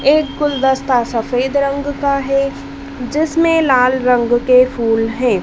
एक गुलदस्ता सफेद रंग का है जिसमें लाल रंग के फूल है।